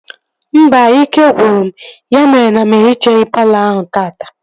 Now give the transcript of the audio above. Mba, ike gwụrụ m ya mere na m ehichaghi palọ ahụ taata